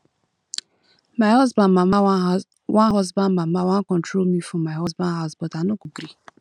my husband mama wan husband mama wan control me for my husband house but i no gree